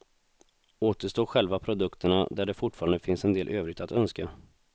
Återstår själva produkterna där det fortfarande finns en del övrigt att önska.